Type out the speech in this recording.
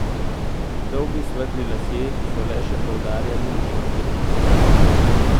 Dolgi svetli lasje so le še poudarjali njeno bledico.